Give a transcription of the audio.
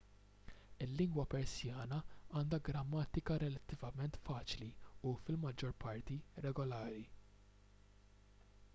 il-lingwa persjana għandha grammatika relattivament faċli u fil-maġġor parti regolari